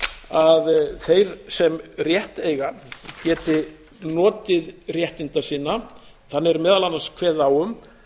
að þeir sem rétt eiga geti notið réttinda sinna þannig er meðal annars kveðið á um